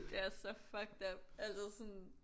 Det er så fucked up altså sådan